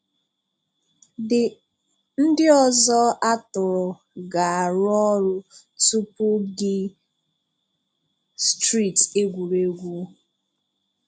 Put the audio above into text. The ndị ọzọ àtùrụ̀ ga-arụ ọrụ tupu gị strt egwuregwu.